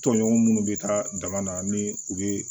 Tɔɲɔgɔn minnu bɛ taa dama na ni u bɛ